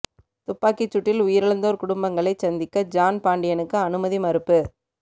துப்பாக்கிச் சூட்டில் உயிரிழந்தோர் குடும்பங்களைச் சந்திக்க ஜான் பாண்டியனுக்கு அனுமதி மறுப்பு